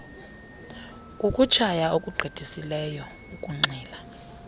kukutshaya okugqithisileyo ukunxila